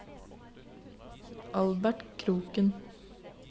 Albert Kroken